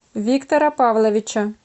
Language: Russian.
виктора павловича